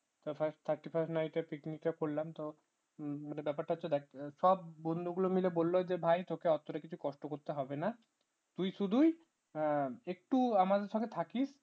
thirty first night এর picnic টা করলাম তো তোমার ব্যাপারটা হচ্ছে দেখ সব বন্ধুগুলো মিলে বলল যে ভাই চল তোকে কিছু কষ্ট করতে হবে না তুই শুধুই একটু আমাদের সাথে থাকিস